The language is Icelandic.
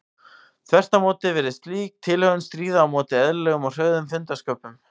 Þvert á móti virðist slík tilhögun stríða á móti eðlilegum og hröðum fundarsköpum.